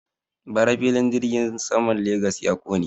Bara filin jirgin saman Legas ya ƙone.